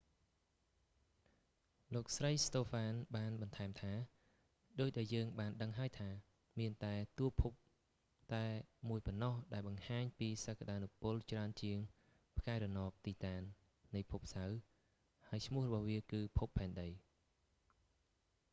លោកស្រី ស្តូហ្វាន បានបន្ថែមថា ដូចដែលយើងបានដឹងហើយថា មានតែតួភពតែមួយប៉ុណ្ណោះ ដែលបង្ហាញពីសក្ដានុពលច្រើនជាងផ្កាយរណប ទីតាន នៃភពសៅរ៍ ហើយឈ្មោះរបស់វា គឺភពផែនដី